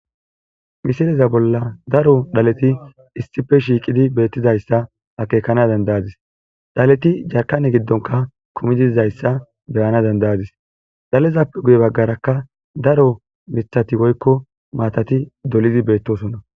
Misileza bolla daro dhaleti issife shiiqidi beettizayssa akeekana dandayadis dhaleti jarkane giddonka kumidizayssa beyana dandayadis dhalezappe guye baggarakka daro mithati woykko maatati dolizi beettosona.